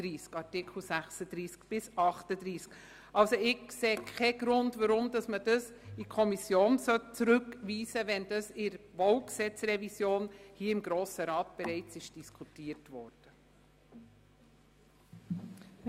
Ich sehe also keinen Grund, weshalb der Artikel in die Kommission zurückgegeben werden sollte, wenn bereits im Rahmen der BauG-Revision hier im Grossen Rat darüber diskutiert worden ist.